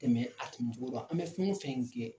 Tɛmɛ a tɛmɛ cogo la an bɛ fɛn o fɛn kɛ.